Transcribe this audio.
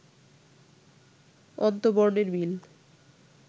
অন্ত্যবর্ণের মিল